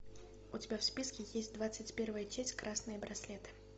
у тебя в списке есть двадцать первая часть красные браслеты